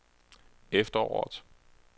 efteråret